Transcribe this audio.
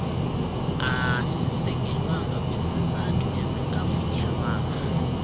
asisekelwanga kwisizathu esingavunyelwanga